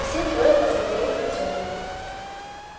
все трое посмотрели в котёл